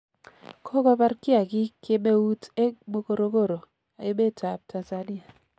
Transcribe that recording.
Kokopar kiakik kemeut eng' Morogoro, emetap Tanzania